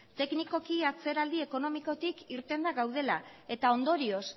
teknikoki atzeraldi ekonomikotik irtenda gaudela eta ondorioz